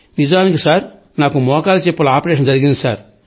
నిజానికి సార్ నాకు మోకాలి చిప్పల ఆపరేషన్ జరిగింది సార్